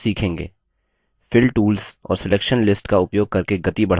fill tools और selection lists का उपयोग करके गति बढ़ाना